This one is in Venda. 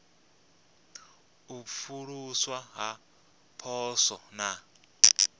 u pfuluswa ha poswo na